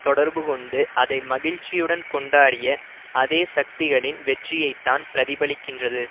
தொடர்பு கொண்டு அதை மகிழ்ச்சியுடன் கொண்டாடிய அதே சக்திகளின் வெற்றியைத்தான் பிரதிபலிக்கின்றது